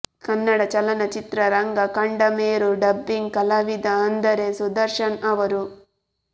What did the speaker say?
ಕನ್ನಡ ಚಲನಚಿತ್ರರಂಗ ಕಂಡ ಮೇರು ಡಬ್ಬಿಂಗ್ ಕಲಾವಿದ ಅಂದರೆ ಸುದರ್ಶನ್ ಅವರು